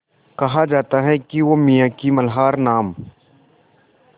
कहा जाता है कि वो मियाँ की मल्हार नाम